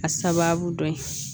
A sababu dɔ ye